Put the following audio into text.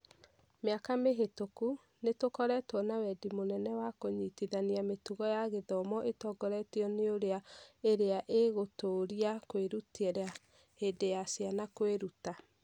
Mĩaka mĩhĩtũku, nĩ tũkoretwo na wendi mũnene wa kũnyitithania mĩtugo ya gĩthomo ĩtongoretio nĩ ũira ĩrĩa ĩgũtũũria kwĩrutĩra hĩndĩ ya ciana kwĩruta